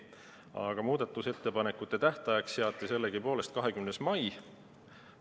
Aga muudatusettepanekute tähtajaks seati sellegipoolest 20. mai.